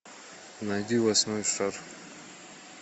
найди восьмой шар